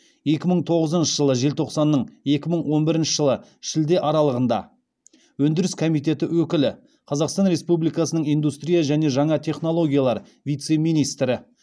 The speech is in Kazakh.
екі мың тоғызыншы жылы желтоқсанның екі мың он бірінші жылы шілде аралығында өндіріс комитеті өкілі қазақстан республикасының индустрия және жаңа технологиялар вице министрі